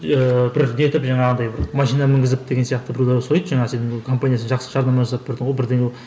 иә бір нетіп жаңағындай бір машина мінгізіп деген сияқты біреулер сұрайды жаңа сен компаниясын жақсы жарнама жасап бердің ғой бірдеңе